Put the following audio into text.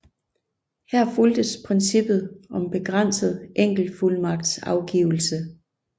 Her fulgtes princippet om begrænset enkeltfuldmagtsafgivelse